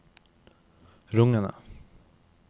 rungende